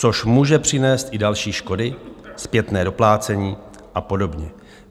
Což může přinést i další škody, zpětné doplácení a podobně.